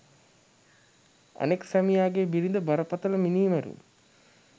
අනෙක් සැමියාගේ බිරිඳ බරපතල මිනීමැරුම්